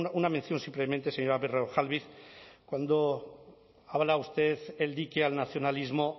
una mención simplemente señora berrojalbiz cuando habla usted el dique al nacionalismo